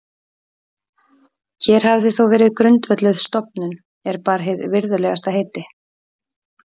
Hér hafði þó verið grundvölluð stofnun, er bar hið virðulegasta heiti